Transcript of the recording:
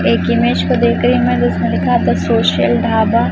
एक इमेज को देख रहे हैं जिसमें लिखा है द सोशल ढाबा ।